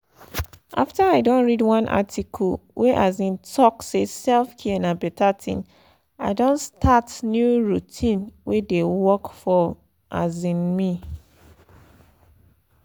after i don read one article wey um talk say self-care na beta thing i don start new routine wey dey work for um me.